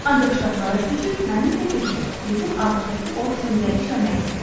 Ancaq ştatlara köçüb mənimlə birgə bizim ABŞ-dakı ofisimizdə işləmək istəyirdi.